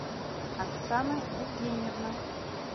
оксана евгеньевна